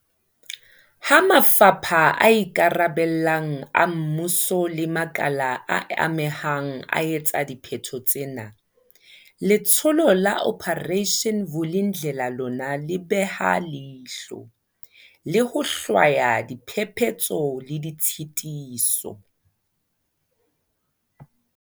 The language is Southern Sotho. Ha mafapha a ikarabellang a mmuso le makala a amehang a etsa dipheto tsena, Letsholo la Operation Vuli ndlela lona le beha leihlo, le ho hlwaya diphephetso le ditshitiso.